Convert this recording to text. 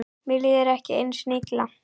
Mér líður ekki einu sinni illa.